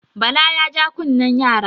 Bala ya ja kunne yara.